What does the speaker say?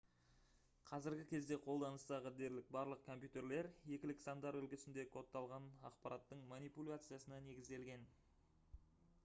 қазіргі кезде қолданыстағы дерлік барлық компьютерлер екілік сандар үлгісінде кодталған ақпараттың манипуляциясына негізделген